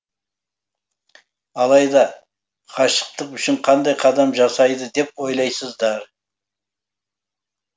алайда ғашықтық үшін қандай қадам жасайды деп ойлайсыздар